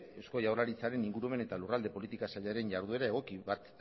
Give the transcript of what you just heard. eusko jaurlaritzaren ingurumen eta lurralde politikaren sailaren jarduera egoki bat